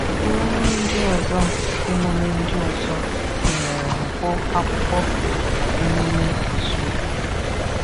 Émùmè ndị ọzọ Émùmè ndị ọzọ gụnyere Nkwọ Akwụkwọ na Émùmè Ị́zụ̀ọ.